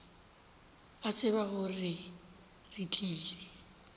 a tseba gore re tlile